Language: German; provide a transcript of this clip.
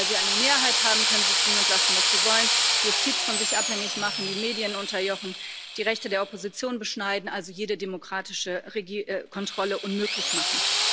Sie meinen, weil sie eine Mehrheit haben, können sie tun und lassen, was sie wollen, die Justiz von sich abhängig machen, die Medien unterjochen, die Rechte der Opposition beschneiden, also jede demokratische Kontrolle unmöglich machen.